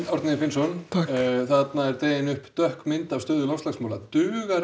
Árni Finnsson það er dregin upp svört mynd af stöðu loftslagsmála dugar